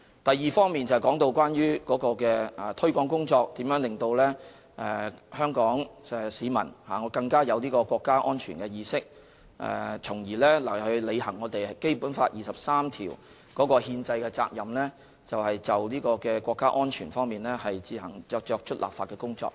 第二部分，就是提到有關推廣工作如何可以令香港市民更有國家安全意識，從而履行《基本法》第二十三條的憲政責任，就國家安全自行作出立法工作。